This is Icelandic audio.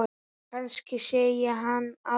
Kannski sé ég hann aldrei.